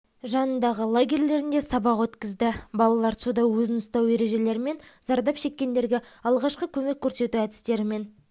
жанындағы лагерлерінде сабақ өткізді балалар суда өзін ұстау ережелерімен зардап шеккендерге алғашқы көмек көрсету әдістерімен